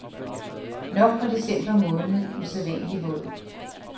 Nok var december måned usædvanlig våd.